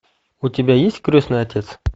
у тебя есть крестный отец